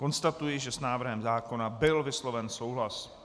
Konstatuji, že s návrhem zákona byl vysloven souhlas.